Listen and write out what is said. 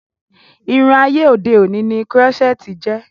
Irun ayé òde òni ni Kírọ́sẹ̀tì jẹ́